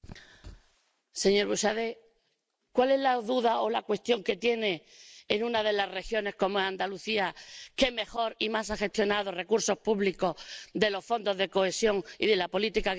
Señor Buxadé, ¿cuál es la duda o la cuestión que tiene en relación con una de las regiones, Andalucía, que mejor y más ha gestionado recursos públicos de los fondos de cohesión y de la política agrícola común?